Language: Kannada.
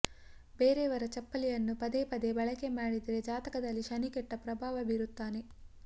ಬೇರೆಯವರ ಚಪ್ಪಲಿಯನ್ನು ಪದೇ ಪದೇ ಬಳಕೆ ಮಾಡಿದ್ರೆ ಜಾತಕದಲ್ಲಿ ಶನಿ ಕೆಟ್ಟ ಪ್ರಭಾವ ಬೀರುತ್ತಾನೆ